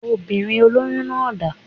Obìnrin olóyún náà dá